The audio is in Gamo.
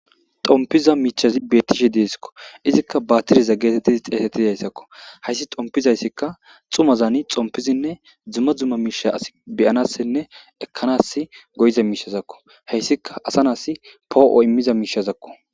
xompiza miichazi bettishe deesikko izikka baatiriza geetettidi xeesettidayssakko hayssi xompizayssikka xumazani xompizinne dzumma dzuma miisha as beyanassinne ekkanas goyiza miishazakko heyssika asa naas poo7o immiza miishazakko